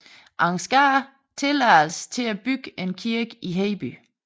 Ansgar tilladelse til at bygge en kirke i Hedeby